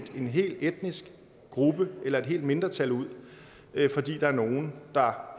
en hel etnisk gruppe eller et helt mindretal ud fordi der er nogen der